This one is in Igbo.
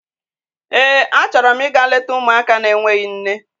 Eé, achọrọ m ịga leta ụmụaka n'enweghị nne.